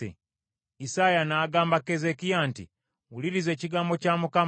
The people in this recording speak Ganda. Isaaya n’agamba Keezeekiya nti, “Wuliriza Mukama Katonda ky’agamba: